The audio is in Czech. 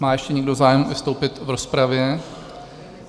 Má ještě někdo zájem vystoupit v rozpravě?